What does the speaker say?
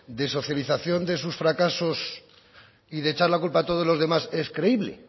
de socialización de sus fracasos y de echar la culpa a todos los demás es creíble